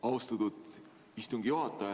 Austatud istungi juhataja!